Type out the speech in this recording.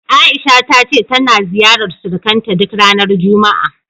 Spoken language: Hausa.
A'isha ta ce tana ziyarar surukanta duk ranar juma'a.